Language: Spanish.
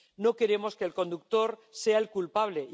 No queremos que el conductor sea el culpable.